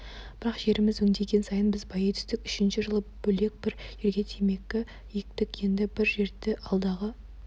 бірақ жеріміз өңделген сайын біз байи түстік үшінші жылы бөлек бір жерге темекі ектік енді бір жерді алдағы